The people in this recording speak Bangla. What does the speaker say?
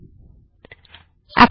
তাহবে এবার এটিকে খুঁজে নেওয়া যাক